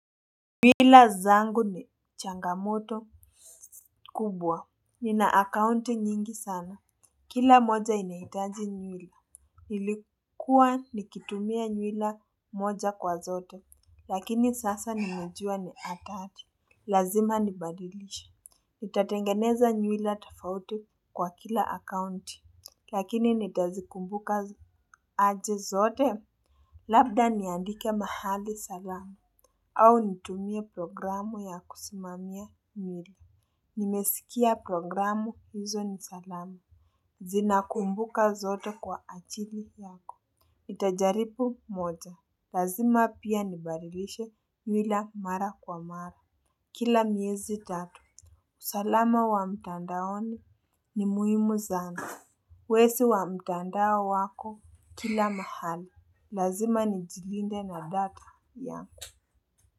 Nywila zangu ni changamoto kubwa, ni na akaunti nyingi sana, kila moja inaitaji nywila, ilikuwa nikitumia nywila moja kwa zote, lakini sasa nimejua ni atali, lazima nibadilishe, nitatengeneza nywilla tafauti kwa kila akaunti, lakini nitazikumbuka aje zote, labda niandike mahali salama, au nitumie programu ya kusimamia mili. Nimeskia programu hizo nisalama zinakumbuka zote kwa ajili yako. Itajaripu moja. Lazima pia nibarilishe nywila mara kwa mara. Kila miezi tatu, usalama wa mtandaoni ni muhimu sana. Wesi wa mtandao wako kila mahali. Lazima ni jilinde na data yangu. Kwa hivyo.